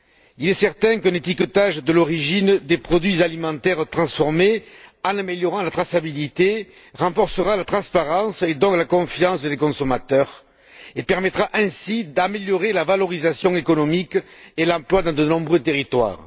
Il est certain qu'un étiquetage de l'origine des produits alimentaires transformés, en améliorant la traçabilité, renforcera la transparence, donc la confiance des consommateurs, et permettra ainsi d'améliorer la valorisation économique et l'emploi dans de nombreux territoires.